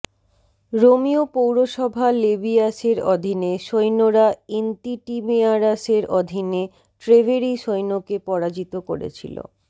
রোমীয় পৌরসভা লেবীয়াসের অধীনে সৈন্যরা ইন্তিটিমেয়ারাসের অধীনে ট্রেভেরী সৈন্যকে পরাজিত করেছিল